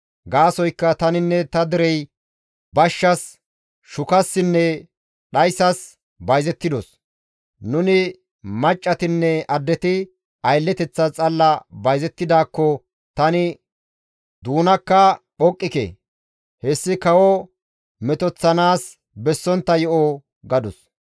Gaasoykka taninne ta derey bashshas, shukassinne dhayssas bayzettidos. Nuni maccatinne addeti aylleteththas xalla bayzettidaakko tani doonakka phoqqike; hessi kawo metoththanaas bessontta yo7o» gadus.